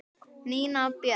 Nína Björk.